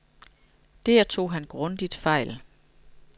Der tog han grundigt fejl.